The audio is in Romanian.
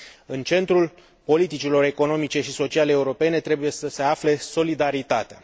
În centrul politicilor economice și sociale europene trebuie să se afle solidaritatea.